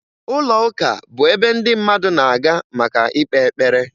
Ụlọụka bụ ebe ndị mmadụ na-aga maka ịkpe ekpere